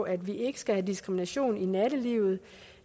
at vi ikke skal have diskrimination i nattelivet